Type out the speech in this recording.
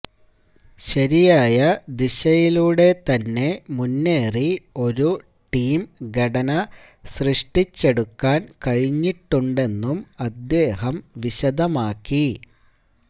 ശരിയായ ദിശയിലൂടെ തന്നെ മുന്നേറി ഒരു ടീം ഘടന സൃഷ്ടിച്ചെടുക്കാന് കഴിഞ്ഞിട്ടുണ്ടെന്നും അദ്ദേഹം വിശദമാക്കി